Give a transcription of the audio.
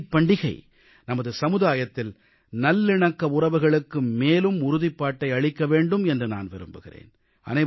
இந்த ஈகை பண்டிகை நமது சமுதாயத்தில் நல்லிணக்க உறவுகளுக்கு மேலும் உறுதிப்பாட்டை அளிக்க வேண்டும் என்று நான் விரும்புகிறேன்